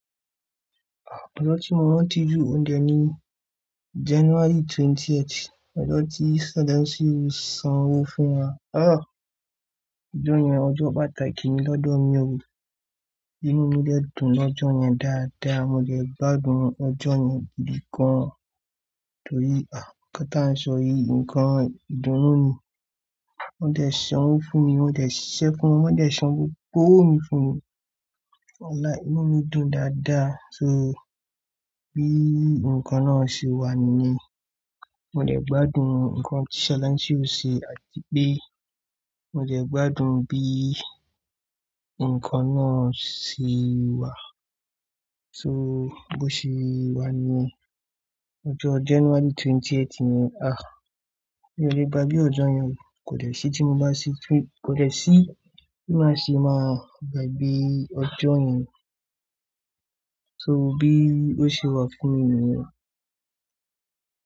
Ọjọ́ tí mo rántí jù òde ni January twentieth. Ọjọ́ tí Sadáńsí sanwó fún wa. Àh, ọjọ́ yẹn ọjọ́ pàtàkì ni lọ́dọ̀ mi o. Inú mi dè dún lọ́jọ́ yẹn dáadáa. Mo dẹ̀ gbádùn ọjọ́ yẹn gidi gan-an. Tórí, àh, nnkán tí à ń sọ yìí, nnkán ìdúnú ni. Wọ́n dẹ̀ sanwó fún mi, wọ́n dẹ̀ ṣẹ́ fún mi, wọ́n dẹ̀ sanwó kowo mi fún mi. Wàlài, inú mi dùn dáadáa. So, bí nnkán máa ṣe wà ni yen mo dẹ̀ gbádùn nnkán tí Sadáńsí ṣe àti pé mo dẹ̀ gbádùn bí nnkán náà ṣe wà. So bó ṣe wà ni ijo ọjọ́ January twentieth yẹn, àh, mí o le gbagbe ọjọ́ yẹn kò dẹ̀ se tí mo bá si, ko- kò dẹ̀ sí bí màá ṣe máa gbàgbe ọjọ́ yẹn. So bí ó ṣe wà fún mi nìyẹn.